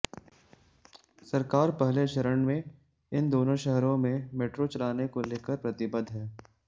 सरकार पहले चरण में इन दोनों शहरों में मेट्रो चलाने को लेकर प्रतिबद्घ है